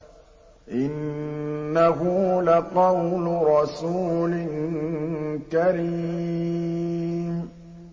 إِنَّهُ لَقَوْلُ رَسُولٍ كَرِيمٍ